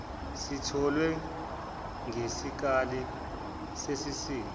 sitholwe ngesikali sesisindo